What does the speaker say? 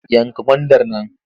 Yanka gwandar nan!